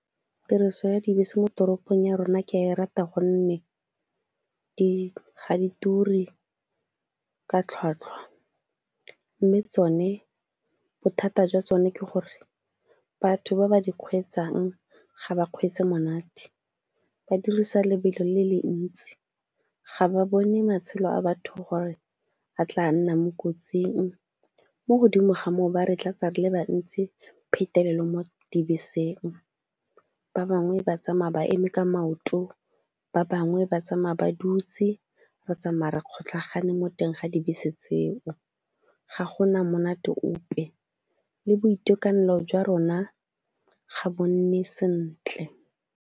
Tiriso ya dibese mo toropong ya rona ke a e rata gonne ga di turi ka tlhwatlhwa mme tsone bothata jwa tsone ke gore batho ba ba di kgweetsang ga ba kgweetse monate, ba dirisa lebelo le le ntsi. Ga ba bone matshelo a batho gore a tla nna mo kotsing, mo godimo ga moo ba re tlatsa re le bantsi phetelelo mo dibeseng, ba bangwe ba tsamaya ba eme ka maoto, ba bangwe ba tsamaya ba dutse. Re tsamaya re kgotlhagane mo teng ga dibese tseo, ga go na monate ope, le boitekanelo jwa rona ga bo nne sentle.